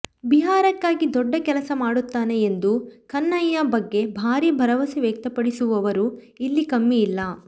ಬಿಹಾರಕ್ಕಾಗಿ ದೊಡ್ಡ ಕೆಲಸ ಮಾಡುತ್ತಾನೆ ಎಂದು ಕನ್ಹಯ್ಯಾ ಬಗ್ಗೆ ಭಾರೀ ಭರವಸೆ ವ್ಯಕ್ತಪಡಿಸುವವರೂ ಇಲ್ಲಿ ಕಮ್ಮಿಯಿಲ್ಲ